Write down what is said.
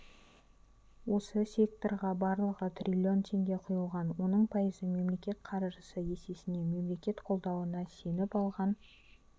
осы секторға барлығы трлн теңге құйылған оның пайызы мемлекет қаржысы есесіне мемлекет қолдауына сеніп алған